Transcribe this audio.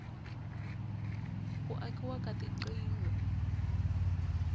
ku akiwa ka tigingho